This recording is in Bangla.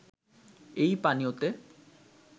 এই পানীয়তে